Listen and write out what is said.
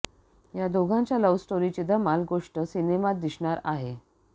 या दोघांच्या लव्ह स्टोरीची धमाल गोष्ट सिनेमात दिसणार आहे